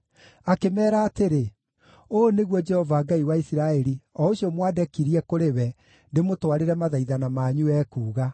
Akĩmeera atĩrĩ, “Ũũ nĩguo Jehova Ngai wa Isiraeli o ũcio mwandekirie kũrĩ we ndĩmũtwarĩre mathaithana manyu, ekuuga: